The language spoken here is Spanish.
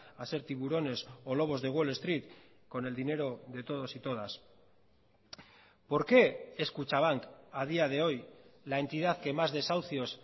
a ser tiburones o lobos de wall street con el dinero de todos y todas por qué es kutxabank a día de hoy la entidad que más desahucios